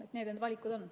Sellised need valikud on.